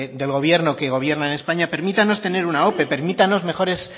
del gobierno que gobierna en españa permítanos tener una ope permítanos mejores